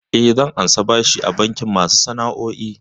Eh, zan karɓi bashi a bankin masu sana'o'i.